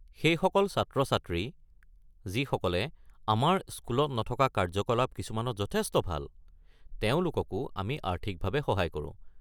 সেইসকল ছাত্ৰ-ছাত্ৰী, যিসকলে আমাৰ স্কুলত নথকা কাৰ্যকলাপ কিছুমানত যথেষ্ট ভাল, তেওঁলোককো আমি আৰ্থিকভাৱে সহায় কৰো।